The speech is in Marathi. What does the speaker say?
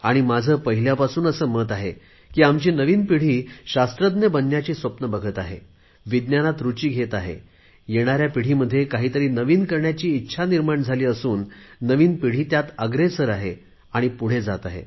आणि माझे पहिल्यापासून असे मत आहे की आमच्या नवीन पिढीने शास्त्रज्ञ बनण्याची स्वप्ने बघावीत विज्ञानात रुची घ्यावी येणाऱ्या पिढीमध्ये काहीतरी नवीन करण्याची इच्छा निर्माण व्हावी आणि या नवीन पिढीने त्यात अग्रेसर व्हावे